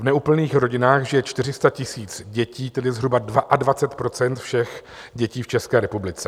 V neúplných rodinách žije 400 000 dětí, tedy zhruba 22 % všech dětí v České republice.